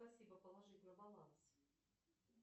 спасибо положить на баланс